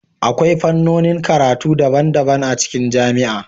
Akwai fannonin karatu daban-daban a cikin jami'a